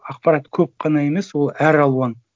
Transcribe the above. ақпарат көп қана емес ол әр алуан